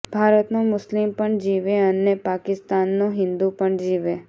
ભારતનો મુસ્લિમ પણ જીવે અને પાકિસ્તાનનો હિંદુ પણ જીવે